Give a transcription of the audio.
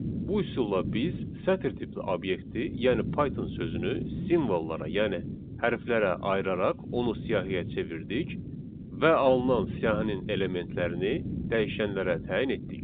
Bu üsulla biz sətir tipli obyekti, yəni Python sözünü simvollara, yəni hərflərə ayıraraq onu siyahıya çevirdik və alınan siyahının elementlərini dəyişənlərə təyin etdik.